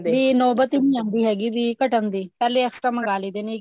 ਵੀ ਨੋਬਤ ਈ ਨੀ ਆਂਦੀ ਹੈਗੀ ਵੀ ਘੱਟਣ ਦੀ ਪਹਿਲੇ extra ਮੰਗਾ ਲਈ ਦੇ ਨੇ